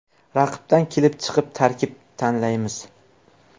Raqibdan kelib chiqib tarkib tanlaymiz.